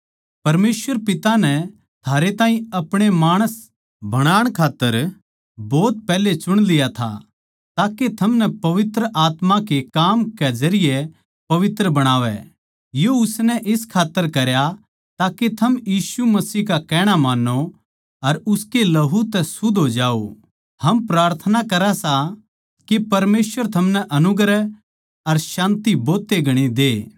परमेसवर पिता नै थारे ताहीं आपणे माणस बनाण खात्तर भोत पैहले चुण लिया था ताके थमनै पवित्र आत्मा के काम के जरिये पवित्र बणावै यो उसनै इस खात्तर करया ताके थम यीशु मसीह का कहणा मान्नो अर उसके लहू तै शुद्ध हो जाओ हम प्रार्थना करा सां के परमेसवर थमनै अनुग्रह अर शान्ति भोतए घणी दे